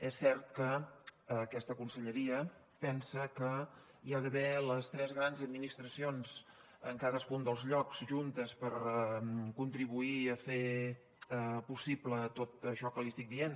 és cert que aquesta conselleria pensa que hi ha d’haver les tres grans administracions en cadascun dels llocs juntes per contribuir a fer possible tot això que li estic dient